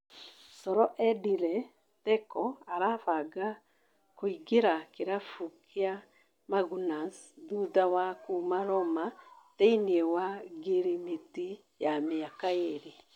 (Coro) Edĩnĩ Theko arabanga kũingĩra kĩrabuinĩ gĩa Magunas thutha wa kuma Roma thĩiniĩ wa ngirimiti ya mĩaka ĩrĩ.